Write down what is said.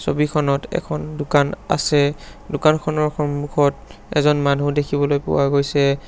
ছবিখনত এখন দোকান আছে দোকানখনৰ সন্মুখত এজন মানু্হ দেখিবলৈ পোৱা গৈছে।